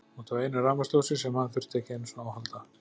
Út af einu rafmagnsljósi sem hann þurfti ekki einu sinni á að halda.